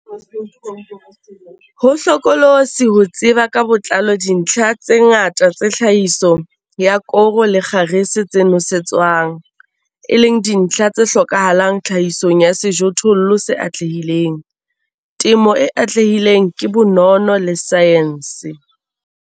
Ho hlokolosi ho tseba ka botlalo dintlha tse ngata tsa tlhahiso ya koro le kgarese tse nosetswang, e leng dintlha tse hlokahalang tlhahisong ya sejothollo se atlehileng. Temo e atlehileng ke bonono le saense.